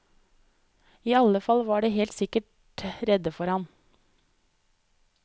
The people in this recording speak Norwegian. I alle fall var de helt sikkert redde for han.